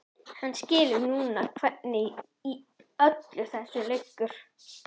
Hann skilur núna hvernig í öllu þessu liggur.